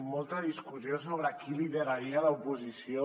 molta discussió sobre qui lideraria l’oposició